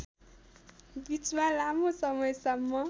बीचमा लामो समयसम्म